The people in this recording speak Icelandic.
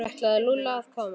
Ætlaði Lúlli að koma?